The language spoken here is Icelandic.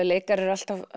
leikarar eru alltaf